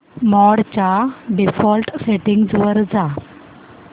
मोड च्या default settings वर जा